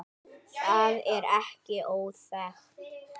Það er ekki óþekkt.